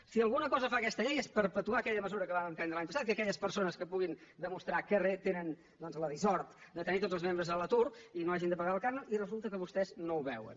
si alguna cosa fa aquesta llei és perpetuar aquella mesura que vam emprendre l’any passat que aquelles persones que puguin demostrar que tenen la dissort de tenir tots els membres a l’atur no hagin de pagar el cànon i resulta que vostès no ho veuen